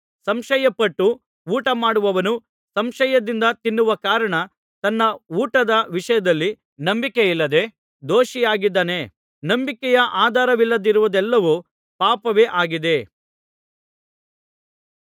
ಸಂಶಯಪಟ್ಟು ಊಟಮಾಡುವವನು ಸಂಶಯದಿಂದ ತಿನ್ನುವ ಕಾರಣ ತನ್ನ ಊಟದ ವಿಷಯದಲ್ಲಿ ನಂಬಿಕೆಯಿಲ್ಲದೆ ದೋಷಿಯಾಗಿದ್ದಾನೆ ನಂಬಿಕೆಯ ಆಧಾರವಿಲ್ಲದಿರುವುದೆಲ್ಲವೂ ಪಾಪವೇ ಆಗಿದೆ